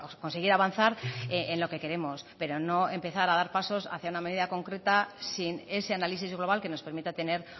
conseguir avanzar en lo que queremos pero no empezar a dar pasos hacia una medida concreta sin ese análisis global que nos permita tener